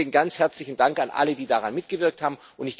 Deswegen ganz herzlichen Dank an alle, die daran mitgewirkt haben.